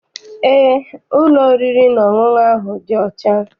Eé, ụlọ oriri na ọṅụṅụ ahụ dị ọcha.